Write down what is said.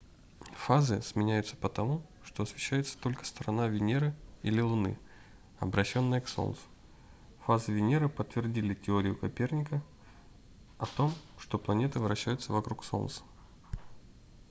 фазы сменяются потому что освещается только сторона венеры или луны обращённая к солнцу. фазы венеры подтвердили теорию коперника о том что планеты вращаются вокруг солнца